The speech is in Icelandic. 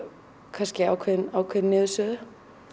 kannski ákveðin ákveðin niðursuða